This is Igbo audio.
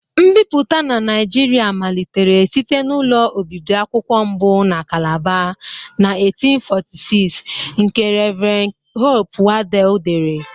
Nbipụta na Nigeria malitere site na ụlọ obibi akwụkwọ mbụ na Calabar, na 1846, nke Rev. Hope Waddel dere.